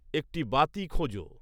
একটি বাতি খোঁজো